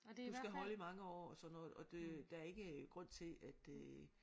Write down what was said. Du skal holde i mange år og sådan noget og det der er ikke grund til at øh